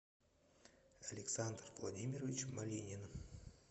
александр владимирович малинин